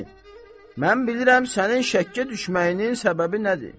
Mən bilirəm sənin şəkkə düşməyinin səbəbi nədir.